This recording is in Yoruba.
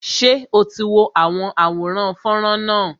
Ṣé o ti wo àwọn àwòrán fọ́nrán náà